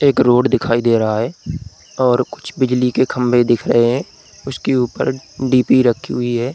एक रोड दिखाई दे रहा है और कुछ बिजली के खंभे दिख रहे है उसके ऊपर डीपी रखी हुई है।